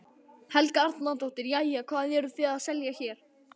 Helga Arnardóttir: Jæja, hvað eruð þið að selja hér?